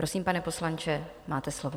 Prosím, pane poslanče, máte slovo.